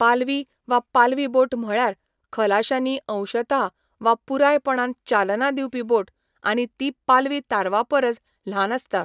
पालवी वा पालवी बोट म्हळ्यार खलाश्यांनी अंशतः वा पुरायपणान चालना दिवपी बोट आनी ती पालवी तारवापरस ल्हान आसता.